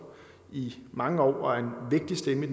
i mange år og er en vigtig stemme